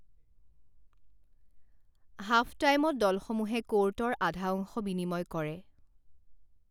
Half টাইমত দলসমূহে ক'ৰ্টৰ আধা অংশ বিনিময় কৰে।